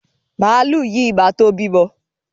Màlúù yìí ma tó bímọ.